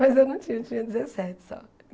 Mas eu não tinha, eu tinha dezessete só.